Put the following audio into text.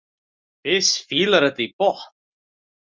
Fis fílar þetta í botn!